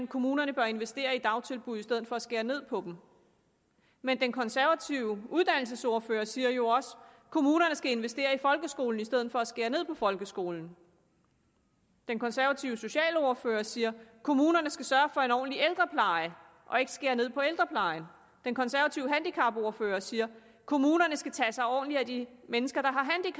kommunerne bør investere i dagtilbud i stedet for at skære ned på dem men den konservative uddannelsesordfører siger jo også at kommunerne skal investere i folkeskolen i stedet for at skære ned på folkeskolen den konservative socialordfører siger at kommunerne skal sørge for en ordentlig ældrepleje og ikke skære ned på ældreplejen den konservative handicapordfører siger at kommunerne skal tage sig ordentligt af de mennesker der